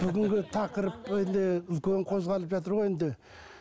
бүгінгі тақырып енді үлкен қозғалып жатыр ғой енді